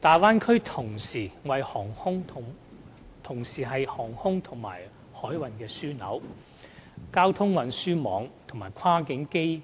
大灣區同時是航空和海運的樞紐，交通運輸網絡及跨境基